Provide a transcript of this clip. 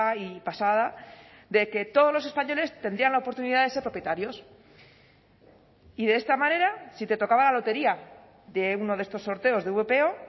y pasada de que todos los españoles tendrían la oportunidad de ser propietarios y de esta manera si te tocaba la lotería de uno de estos sorteos de vpo